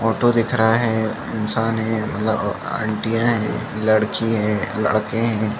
Auto दिख रहा है इंसान है ल अ अंटिया है लड़की है लड़के है।